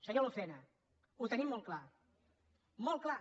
senyor lucena ho tenim molt clar molt clar